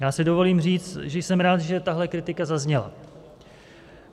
Já si dovolím říct, že jsem rád, že tahle kritika zazněla.